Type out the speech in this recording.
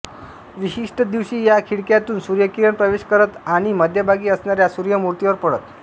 विशिष्ट दिवशी या खिडक्यातून सूर्यकिरण प्रवेश करत आणि मध्यभागी असणाऱ्या सूर्य मूर्तीवर पडत